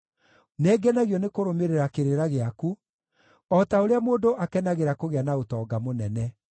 Nĩngenagio nĩkũrũmĩrĩra kĩrĩra gĩaku, o ta ũrĩa mũndũ akenagĩra kũgĩa na ũtonga mũnene.